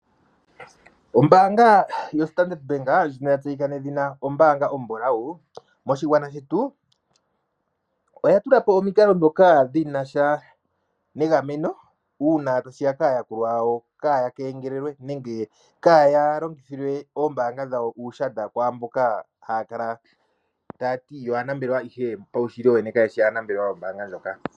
Ombaanga yoStandard Bank ndjono ya tseyika nedhina ombaanga ombulawu, moshigwana shetu oya tula po omikalo ndhoka dhi na sha negameno uuna tashi ya kaayakulwa yawo kaa ya kengelelwe nenge kaa ya longithilwe ombaanga dhawo uushadha , kwaamboka ha ya kala ta ya ti yo aanambelewa ihe paushili wowene kayeshi aanambelewa yombaanga ndjoka.